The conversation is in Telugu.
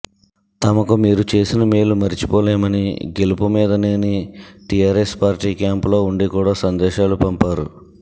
తమకు మీరు చేసిన మేలు మరిచిపోలేమని గెలుపుమీదనేని టిఆర్ఎస్ పార్టీ క్యాంపులో ఉండి కూడా సందేశాలు పంపారు